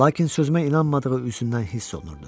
Lakin sözümə inanmadığı üzündən hiss olunurdu.